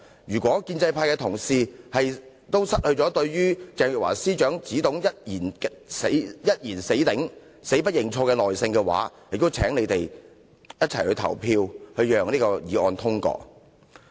如果建制派同事對於鄭若驊司長只懂"一言死頂，死不認錯"也已失去耐性，便請他們一起投票通過這項議案。